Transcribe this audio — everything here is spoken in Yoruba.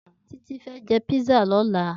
Titi fè jè pizza lòlá